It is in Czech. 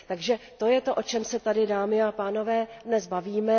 Takže to je to, o čem se tady, dámy a pánové, dnes bavíme.